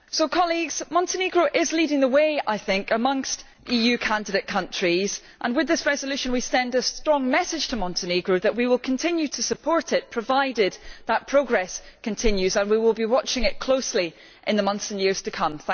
Colleagues, I think Montenegro is leading the way amongst EU candidate countries and with this resolution we send a strong message to Montenegro that we will continue to support it, provided that progress continues, and we will be watching it closely in the months and years to come.